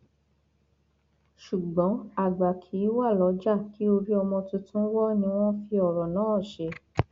ṣùgbọn àgbà kì í wá lọjà kí orí ọmọ tuntun wo ni wọn fi ọrọ náà ṣe